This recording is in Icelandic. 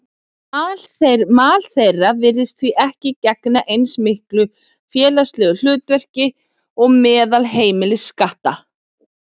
Mal þeirra virðist því ekki gegna eins mikilvægu félagslegu hlutverki og meðal heimiliskatta.